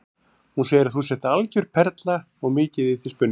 Hún segir að þú sért algjör perla og mikið í þig spunnið.